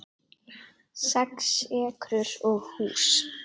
Sex ekrur og hús